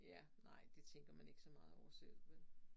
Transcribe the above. Ja nej det tænker man ikke så meget over selv vel